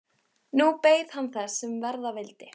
Nú beið hann þess, sem verða vildi.